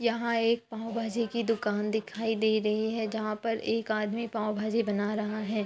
यहां एक पावभांजी की दूकान दिखाई दे रही है जहां पर एक आदमी पावभाजी बना रहा है।